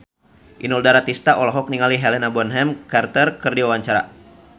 Inul Daratista olohok ningali Helena Bonham Carter keur diwawancara